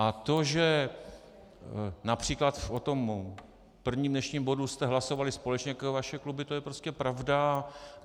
A to, že například o tom prvním dnešním bodu jste hlasovali společně jako vaše kluby, to je prostě pravda.